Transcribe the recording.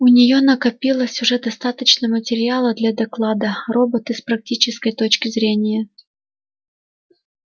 у нее накопилось уже достаточно материала для доклада роботы с практической точки зрения